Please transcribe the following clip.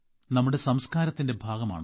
നമ്മുടെ സംസ്കാരത്തിന്റെ ഭാഗമാണ്